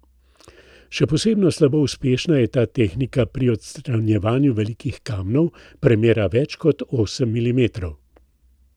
Še posebno slabo uspešna je ta tehnika pri odstranjevanju velikih kamnov, premera več kot osem milimetrov.